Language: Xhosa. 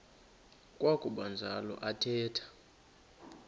kwakuba njalo athetha